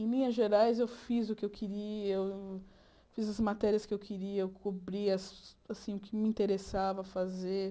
Em linhas gerais, eu fiz o que eu queria, eu eu fiz as matérias que eu queria, eu cobria assim o que me interessava fazer.